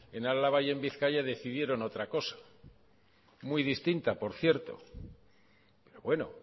en álava y en bizkaia decidieron otra cosa muy distinta por cierto pero bueno